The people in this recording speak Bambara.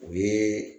O ye